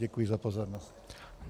Děkuji za pozornost.